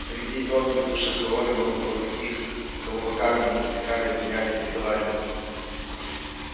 среди вновь прибывших колонию много было таких кого по камерам и засекали обвиняли и приговаривали